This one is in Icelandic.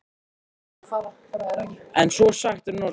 En svo er sagt um nornir.